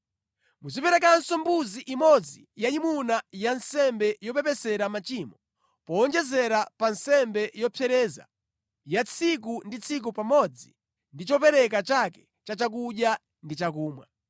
Muziperekanso mbuzi imodzi yayimuna ya nsembe yopepesera machimo powonjezera pa nsembe yopsereza ya tsiku ndi tsiku pamodzi ndi chopereka chake cha chakudya ndi chakumwa.